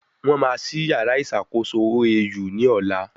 Wọ́n máa ṣí yàrá ìṣàkóso OAU ní ọ̀la